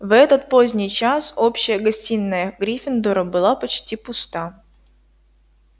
в этот поздний час общая гостиная гриффиндора была почти пуста